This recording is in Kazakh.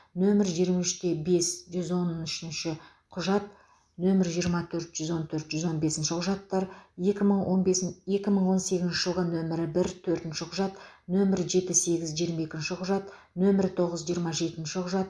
нөмірі жиырма үште бес жүз он үшінші құжат нөмірі жиырма төрт жүз он төрт жүз он бесінші құжаттар екі мың он бес екі мың сегізінші жылғы нөмірі бір төртінші құжат нөмір жеті сегіз жиырма екінші құжат нөмірі тоғыз жиырма жетінші құжат